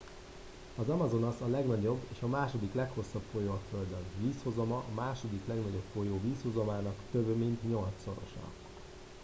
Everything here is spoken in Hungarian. az amazonas a legnagyobb és a második leghosszabb folyó a földön vízhozama a második legnagyobb folyó vízhozamának több mint nyolcszorosa